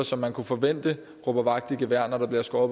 som man kunne forvente råber vagt i gevær når der bliver skåret